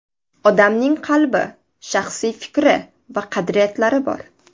Odamning qalbi, shaxsiy fikri va qadriyatlari bor.